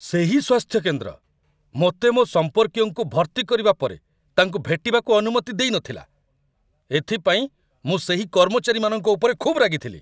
ସେହି ସ୍ୱାସ୍ଥ୍ୟ କେନ୍ଦ୍ର ମୋତେ ମୋ ସମ୍ପର୍କୀୟଙ୍କୁ ଭର୍ତ୍ତି କରିବା ପରେ ତାଙ୍କୁ ଭେଟିବାକୁ ଅନୁମତି ଦେଇନଥିଲା। ଏଥିପାଇଁ ମୁଁ ସେହି କର୍ମଚାରୀମାନଙ୍କ ଉପରେ ଖୁବ୍ ରାଗିଥିଲି ।